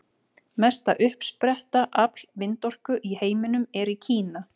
Mesta uppsetta afl vindorku í heiminum er í Kína.